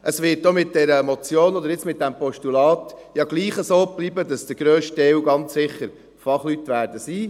Es wird ja auch mit dieser Motion, oder jetzt mit diesem Postulat, trotzdem so bleiben, dass der grösste Teil ganz sicher Fachleute sein werden.